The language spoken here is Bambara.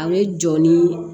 A bɛ jɔ ni